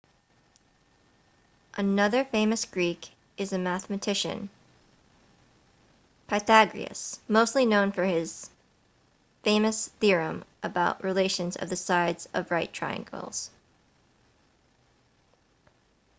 another famous greek is a mathematician pythagoras mostly known for his famous theorem about relations of the sides of right triangles